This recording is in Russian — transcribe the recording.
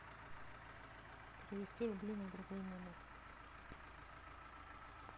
перевести рубли на другой номер